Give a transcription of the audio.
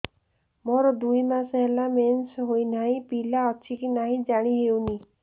ମୋର ଦୁଇ ମାସ ହେଲା ମେନ୍ସେସ ହୋଇ ନାହିଁ ପିଲା ଅଛି କି ନାହିଁ ଜାଣି ହେଉନି